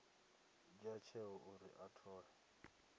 dzhia tsheo uri a thole